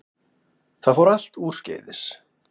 Það fór allt úrskeiðis